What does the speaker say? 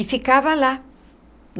E ficava lá.